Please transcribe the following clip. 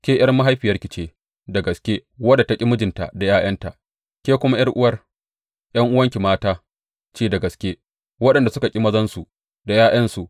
Ke ’yar mahaifiyarki ce da gaske, wadda ta ƙi mijinta da ’ya’yanta; ke kuma ’yar’uwar ’yar’uwanki mata ce da gaske, waɗanda suka ƙi mazansu da ’ya’yansu.